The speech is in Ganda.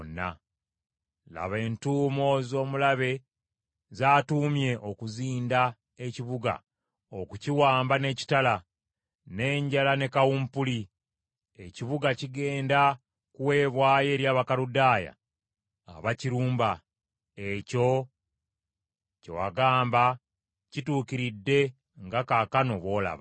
“Laba entuumo z’omulabe z’atuumye okuzinda ekibuga okukiwamba n’ekitala, n’enjala ne kawumpuli, ekibuga kigenda kuweebwayo eri Abakaludaaya abakirumba. Ekyo kye wagamba kituukiridde nga kaakano bw’olaba.